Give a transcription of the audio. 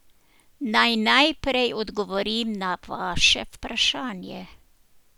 Naj najprej odgovorim na vaše vprašanje.